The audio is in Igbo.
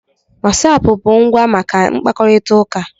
wasapu bụ ngwa maka nkwukọrịta uka